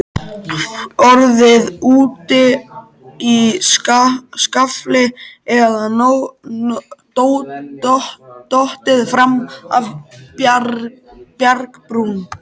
Orðið úti í skafli eða dottið fram af bjargbrún.